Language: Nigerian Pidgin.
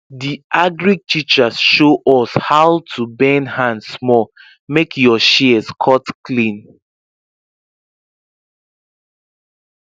di agric teacher show us how to bend hand small make your shears cut clean